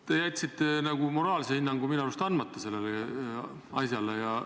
Te nagu jätsite moraalse hinnangu sellele asjale minu arust andmata.